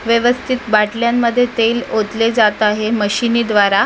व्यवस्थित बाटल्यांमध्ये तेल ओतले जात आहे मशिनीद्वारा --